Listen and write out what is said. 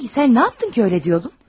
Sahi sən nə yapdın ki, elə deyirdin?